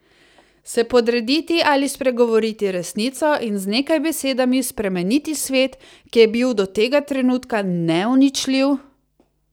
Se podrediti ali spregovoriti resnico in z nekaj besedami spremeniti svet, ki je bil do tega trenutka neuničljiv?